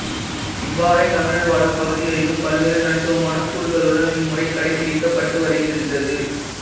இவ்வாறே தமிழர் வாழும் பகுதிகளிலும் பல்வேறு தனித்துவமான கூறுகளுடன் இம்முறை கடைப்பிடிக்கப்பட்டு வருகின்றது